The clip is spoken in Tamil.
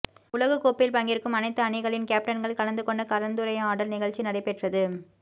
உலகக் கோப்பையில் பங்கேற்கும் அனைத்து அணிகளிள் கேப்டன்கள் கலந்து கொண்ட கலந்துரையாடல் நிகழ்ச்சி நடைபெற்றது